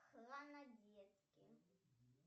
хронодетки